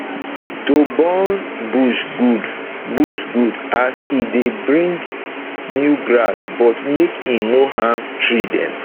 to burn bush good bush good as e dey bring new grass but make e nor harm tree dem